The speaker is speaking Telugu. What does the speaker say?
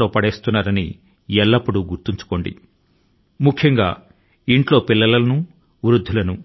ను మరీ ముఖ్యం గా ఇంటిలోని బాలల ను మరియు వయోధికుల ను అపాయం లోకి నెట్టుతున్నారన్న మాటే